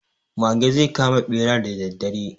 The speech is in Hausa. Mage zai kama ɓera da daddare.